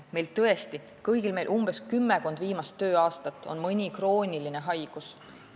Meil kõigil on kümmekonna viimase tööaasta ajal mõni krooniline haigus.